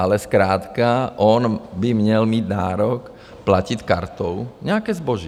Ale zkrátka on by měl mít nárok platit kartou nějaké zboží.